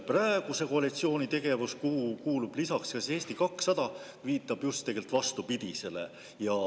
Praeguse koalitsiooni – kuhu kuulub lisaks Eesti 200 – tegevus viitab just vastupidisele.